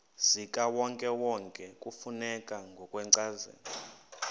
zikawonkewonke kufuneka ngokwencazelo